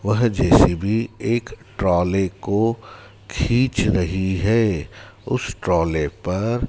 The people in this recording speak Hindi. वह जे_सी_बी एक ट्रॉले को खींच रही है उस ट्रॉले पर--